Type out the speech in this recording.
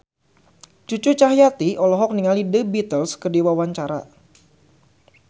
Cucu Cahyati olohok ningali The Beatles keur diwawancara